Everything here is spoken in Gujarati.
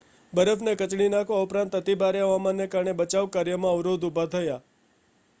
બરફને કચડી નાખવા ઉપરાંત અતિભારે હવામાનને કારણે બચાવ કાર્યમાં અવરોધ ઉભા થયા